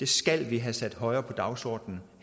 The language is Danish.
skal vi have sat højere på dagsordenen